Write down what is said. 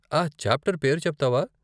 ఆ చాప్టర్ పేరు చెప్తావా?